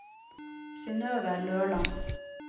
Synøve Løland